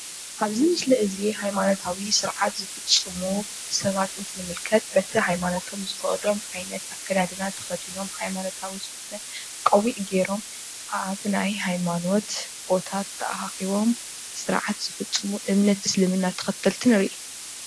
አብዚ ምስሊ እዚ ሃይማኖታዊ ስርዓት ዝፉፁሙ ሰባት እንትንምልክት በቲ ሃይማኖቶም ዝፈቅዶም ዓይነት አከዳድና ተከዲኖም ሃይማኖታዊ ዝኮነ ቆቢዕ ገይሮም አብ ናይ ሃይማኖት ቦታ ተአካኪቦም ስርዓት ዝፍፅሙ እምነት እስልምና ተከተልቲ ንሪኢ ፡፡